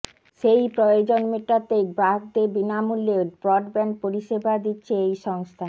সেই প্রয়োজন মেটাতেই গ্রাহকদের বিনামূল্যে ব্রডব্যান্ড পরিষেবা দিচ্ছে এই সংস্থা